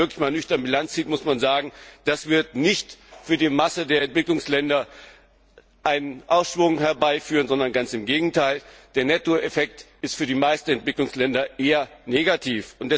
Aber wenn man wirklich einmal nüchtern Bilanz zieht, muss man sagen, das wird nicht für die Masse der Entwicklungsländer einen Aufschwung herbeiführen, sondern ganz im Gegenteil Der Netto Effekt ist für die meisten Entwicklungsländer eher negativ.